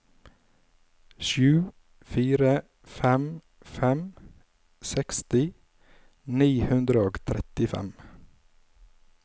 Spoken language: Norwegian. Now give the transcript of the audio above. sju fire fem fem seksti ni hundre og trettifem